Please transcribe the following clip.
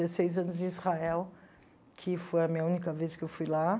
Dezesseis anos em Israel, que foi a minha única vez que eu fui lá.